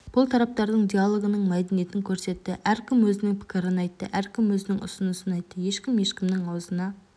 бұл тараптардың диалогының мәдениетін көрсетті әркім өзінің пікірін айтты әркім өзінің ұсынысын айтты ешкім ешкімнің аузына